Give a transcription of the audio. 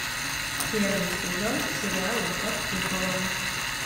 первый сезон сериала под куполом